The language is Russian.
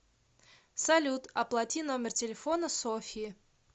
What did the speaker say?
салют оплати номер телефона софьи